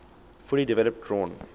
fully developed drawn